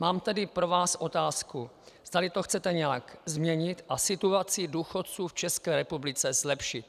Mám tedy pro vás otázku, zdali to chcete nějak změnit a situaci důchodců v České republice zlepšit.